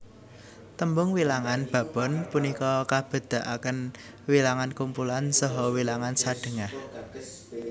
Tembung wilangan babon punika kabedakaken wilangan kumpulan saha wilangan sadhengah